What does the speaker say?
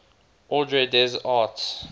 ordre des arts